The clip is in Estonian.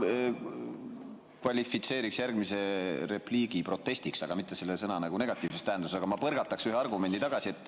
Ma kvalifitseeriks järgmise repliigi protestiks, aga mitte selle sõna negatiivses tähenduses, ma põrgataksin ühe argumendi tagasi.